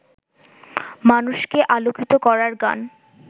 মানুষকে আলোকিত করার গান